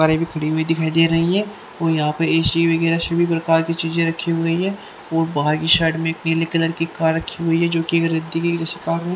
दिखाई दे रही है कोई यहां पर ए_सी वगैरा सभी प्रकार की चीजे रखी हुई है और बाहर के साइड में एक पीले कलर की कार रखी हुई है जोकि --